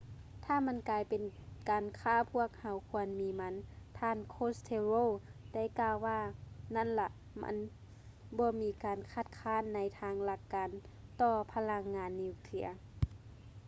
ຖ້າມັນກາຍເປັນການຄ້າພວກເຮົາຄວນມີມັນ ທ່ານ costello ໄດ້ກ່າວວ່ານັ້ນລະ ມັນບໍ່ມີການຄັດຄ້ານໃນທາງຫຼັກການຕໍ່ພະລັງງານນິວເຄຼຍ